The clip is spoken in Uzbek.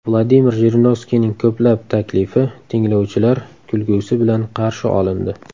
Vladimir Jirinovskiyning ko‘plab taklifi tinglovchilar kulgusi bilan qarshi olindi.